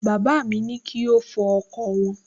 Bàbá ní kí ó fọ ọkọ̀ wọn